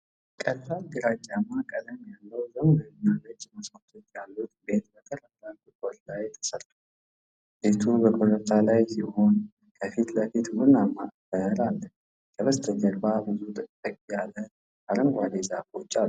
ቀላል ግራጫማ ቀለም ያለው፣ ዘመናዊና ነጭ መስኮቶች ያሉት ቤት በተራራ ቁልቁለት ላይ ተሠርቷል። ቤቱ በኮረብታ ላይ ሲሆን፣ ከፊት ለፊት ቡናማ አፈር አለ። ከበስተጀርባ ብዙ ጥቅጥቅ ያለ አረንጓዴ ዛፎች አሉ።